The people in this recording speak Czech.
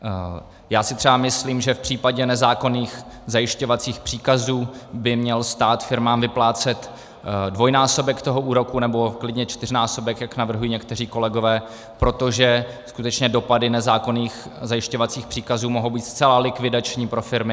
Já si třeba myslím, že v případě nezákonných zajišťovacích příkazů by měl stát firmám vyplácet dvojnásobek toho úroku, nebo klidně čtyřnásobek, jak navrhují někteří kolegové, protože skutečně dopady nezákonných zajišťovacích příkazů mohou být zcela likvidační pro firmy.